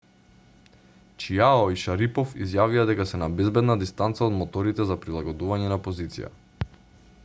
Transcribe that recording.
чиао и шарипов изјавија дека се на безбедна дистанца од моторите за прилагодување на позиција